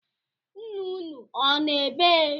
Ńnà ụnụ ọ nọ ebee?